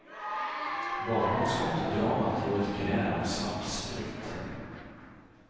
Bakom skottdramat låg ett gräl om svartsprit.